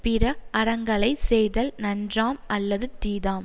பிற அறங்களை செய்தல் நன்றாம் அல்லது தீதாம்